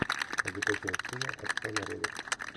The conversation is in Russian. закачай сына отца народов